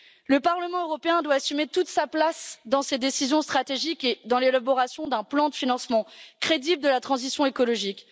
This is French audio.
Le Parlement européen doit assumer toute sa place dans ces décisions stratégiques et dans l'élaboration d'un plan de financement crédible de la transition écologique